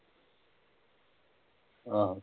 ਆਹੋ